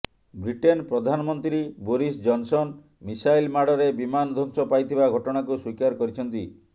Britain ପ୍ରଧାନମନ୍ତ୍ରୀ Boris Johnson missile ମାଡ଼ରେ ବିମାନ ଧ୍ୱଂସ ପାଇଥିବା ଘଟଣାକୁ ସ୍ୱୀକାର କରିଛନ୍ତି